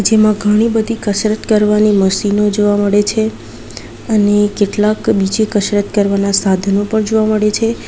એમાં ઘણી બધી કસરત કરવાની મશીનો જોવા મળે છે અને કેટલાક બીજી કશરત કરવાના સાધનો પણ જોવા મળે છે.